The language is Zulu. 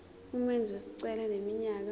umenzi wesicelo eneminyaka